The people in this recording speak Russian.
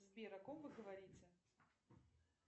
сбер о ком вы говорите